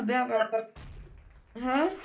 ਲੱਭਿਆ ਬਾਰ ਬਾਰ ਹੈਂ